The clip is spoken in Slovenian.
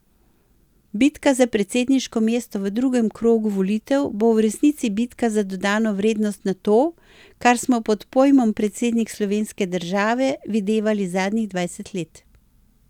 Bitka za predsedniško mesto v drugem krogu volitev bo v resnici bitka za dodano vrednost na to, kar smo pod pojmom predsednik slovenske države videvali zadnjih dvajset let.